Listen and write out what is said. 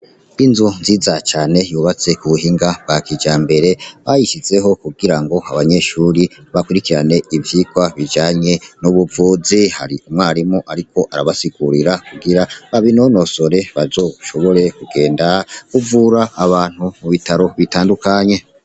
Inzu nziza cane yubatse ku buhinga bwa kijambere bayishizeho kugira ngo abanyeshure bakurikirane ivyigwa bijanye n’ubuvuzi , hari umwarimu ariko arabasigurira kugira babinonosore bazoshobore kugenda kuvura abantu mu bitaro bitandukanye.